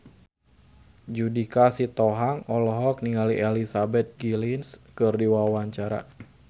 Judika Sitohang olohok ningali Elizabeth Gillies keur diwawancara